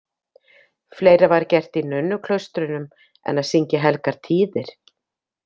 Fleira var gert í nunnuklaustrunum en að syngja helgar tíðir.